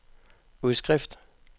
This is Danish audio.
udskrift